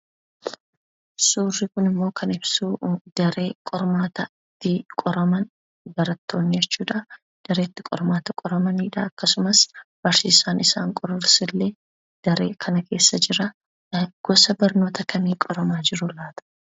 Suurri kunimmoo kan ibsuu daree qormaataa itti qoraman barattoonni jechuudhaa daree itti qormaata qoramanidha akkasumas barsiisaan isaan qorus illee daree kana keessa jiraa. Gosa barnoota kamii qoramaa jiru laata?